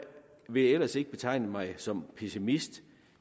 vil ellers ikke betegne mig som pessimist